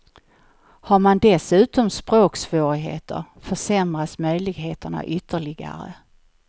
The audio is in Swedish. Har man dessutom språksvårigheter försämras möjligheterna ytterligare.